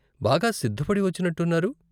బాగా సిద్ధపడి వచ్చినట్టు ఉన్నారు.